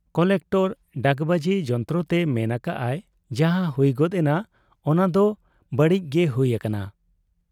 Collector ᱰᱟᱠᱵᱟᱹᱡᱤ ᱡᱚᱱᱛᱨᱚᱛᱮ ᱢᱮᱱ ᱟᱠᱟᱜ ᱟᱭ ᱡᱟᱦᱟᱸ ᱦᱩᱭ ᱜᱚᱫ ᱮᱱᱟ , ᱚᱱᱟᱫᱚ ᱵᱟᱹᱲᱤᱡ ᱜᱮ ᱦᱩᱭ ᱟᱠᱟᱱᱟ ᱾